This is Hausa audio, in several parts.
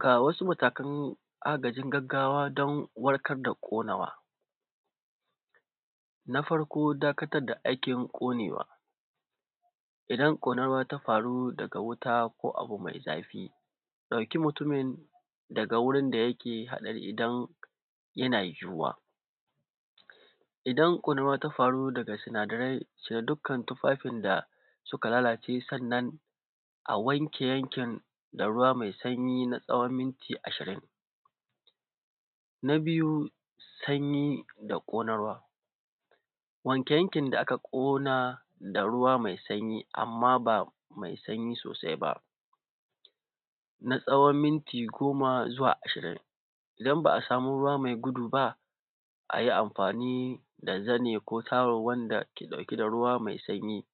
Ga wasu matakan agajin gaggawa dan warkar da ƙonawa. Na farko dakatar da aikin ƙonewa. Idan ƙonawa ta faru daga wuta ko abu mai zafi, ɗauki mutumin daga wurin da yake haɗari idan yana yiwuwa. Idan ƙonawa ta faru daga sinadarai, cire dukkan tufafin da suka lalace sannan a wanke yankin da ruwa mai sanyi na tsawon minti ashirin. Na biyu, sanyi da ƙonarwa. Wanke yankin da aka ƙona da ruwa mai sanyi, amma ba mai sanyi sosai ba, na tsawon minti goma zuwa ashirin. Idan ba a samu ruwa mai gudu ba, a yi amfani da zani ko tawul wanda ke ɗauke da ruwa mai sanyi.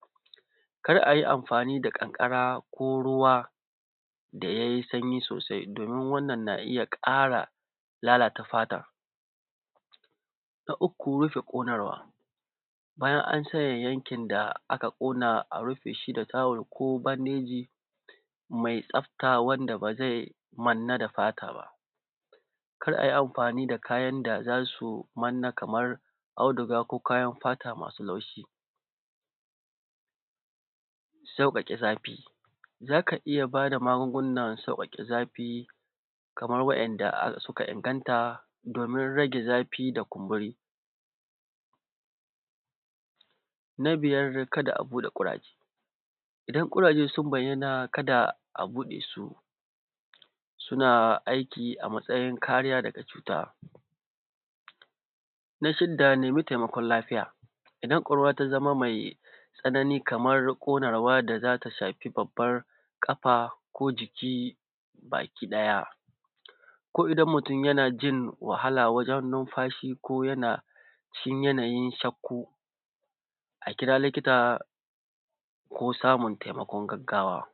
Kar a yi amfani da ƙanƙara ko ruwa, da ya yi sanyi sosai domin wannan na iya ƙara lalata fatar. Na uku, rufe ƙonarwa. Bayan an saye yankin da aka ƙona, a rufe shi da tawul ko bandeji, mai tsafta wanda ba zai manna da fata ba. Kar a yi amfani da kayan da za su manna kamar auduga ko kayan fata masu laushi. Sauƙaƙe zafi. Za ka iya bayar da magungunan sauƙaƙe zafi, kamar wa’yanda suka inganta domin rage zafi da kumburi. Na biyar kada a buɗe ƙuraje. Idan ƙuraje sun bayyana kada a buɗe su. Suna aiki a matsayin kariya daga cuta. Na shidda nemi taimakon lafiya. Idan ƙonarwa ta zama mai tsanani kamar ƙonarwa da za ta shafi babbar ƙafa ko jiki bakiɗaya, ko idan mutum yana jin wahala wajen numfashi ko yana cikin yanayin shakku, a kira likita, ko samun taimakon gaggawa.